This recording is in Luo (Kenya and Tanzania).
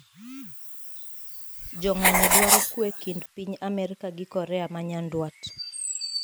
Jong`anyoo dwaro kwee kind piny Amerka gi Korea manyandwat.